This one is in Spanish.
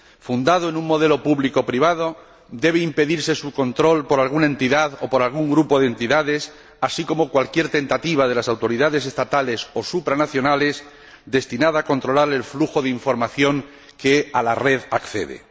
Fundado en un modelo público privado, debe impedirse su control por alguna entidad o por algún grupo de entidades, así como cualquier tentativa de las autoridades estatales o supranacionales destinada a controlar el flujo de información que a la red accede.